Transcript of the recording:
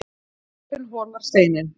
Dropinn holar steininn